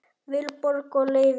Vilborg og Leifur.